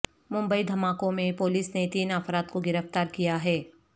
ممبئی دھماکوں میں پولیس نے تین افراد کو گرفتار کیا ہے